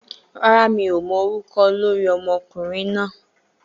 Rárá, mi ò mọ orúkọ olórí ọmọkùnrin náà